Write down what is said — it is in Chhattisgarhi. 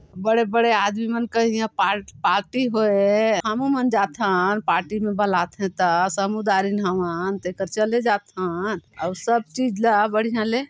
बड़े-बड़े आदमी मन के इहा पा-पार्टी होये हे हमू मन जाथन पार्टी मा बलाथे ता समुदारिन हम हं तेकर चले जाथन औ सब चीज ला बढ़िया ले--